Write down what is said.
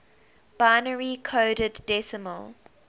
binary coded decimal